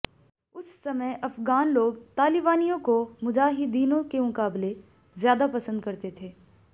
उस समय अफ़ग़ान लोग तालिबानियों को मुजाहिदीनों के मुकाबले ज्यादा पसंद करते थे